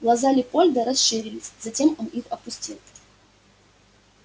глаза лепольда расширились затем он их опустил